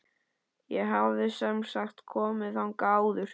Ég hafði semsagt komið þangað áður.